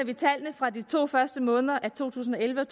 vi tallene fra de to første måneder af to tusind og elleve og